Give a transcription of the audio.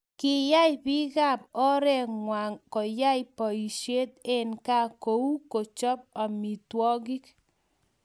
Kiyay biikab oreengwang koyay boisie eng kaa kou kocho amitwokik.